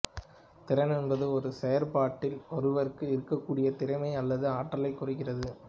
திறன் என்பது ஒரு செயற்பாட்டில் ஒருவருக்கு இருக்ககூடிய திறமைய அல்லது ஆற்றலை குறிக்கிறது